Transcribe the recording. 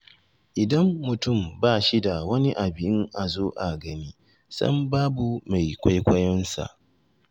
Idan mutum ba shi da wani abin a zo a gani, sam babu mai kwaikwayonsa..